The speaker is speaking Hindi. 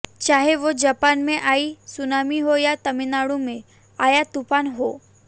चाहे वो जापान में आई सुनामी हो या तमिलनाडु में आया तूफान हो